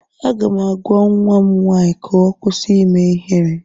Aga m agwa nwa m nwaanyị ka ọ kwụsị ime ihere